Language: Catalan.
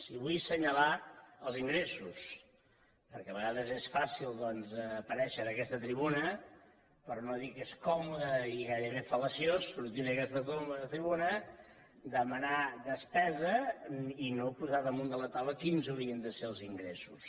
i vull assenyalar els ingressos perquè de vegades és fàcil doncs aparèixer en aquesta tribuna per no dir que és còmode i gairebé fal·laciós sortir en aquesta tribuna demanar despesa i no posar damunt de la taula quins haurien de ser els ingressos